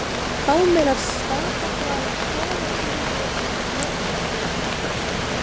Hámelar, Stapaflag, Kolagljúfur, Norðbrekkur